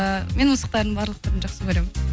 і мен мысықтардың барлық түрін жақсы көремін